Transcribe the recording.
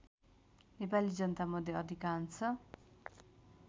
नेपाली जनतामध्ये अधिकांश